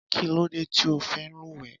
Kí ló dé tí o fí ń lúwẹ̀ẹ́?